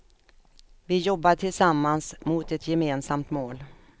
Vi jobbar tillsammans, mot ett gemensamt mål.